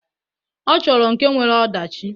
Ọ chọrọ nke nwere ọdachi.